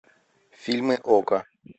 фильмы окко